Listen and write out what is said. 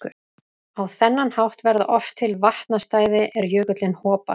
Á þennan hátt verða oft til vatnastæði er jökullinn hopar.